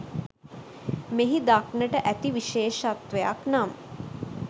මෙහි දක්නට ඇති විශේෂත්වයක් නම්